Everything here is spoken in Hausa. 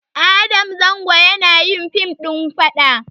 Adam zango yanayin fim ɗin faɗa